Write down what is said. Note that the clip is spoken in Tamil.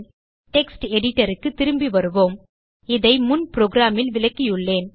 டெக்ஸ்ட் editorக்கு திரும்பி வருவோம் இதை முன் programல் விளக்கியுள்ளேன்